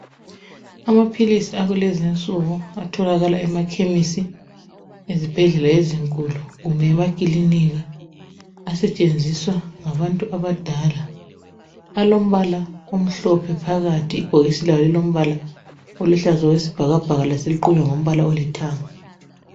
Amaphilisi akulezinsu atholakala emakhemesi ezibhedlela ezinkulu kumbe emakilinika asetshenziswa ngabantu abadala alombala omhlophe phakathi ibhokisi lawo lilombala oluhlaza okwesibhakabhaka laseliqunywa ngombala olithanga.